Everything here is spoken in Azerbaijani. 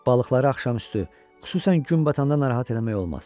Balıqları axşam üstü xüsusən gün batanda narahat eləmək olmaz.